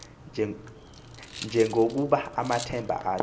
njengokuba amthemba athi